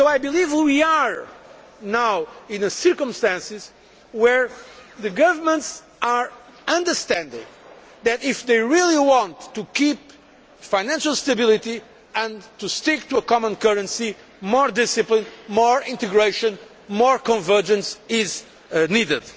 I believe that we do have the circumstances where governments understand that, if they really want to keep financial stability and to stick to a common currency, more discipline, more integration and more convergence is needed.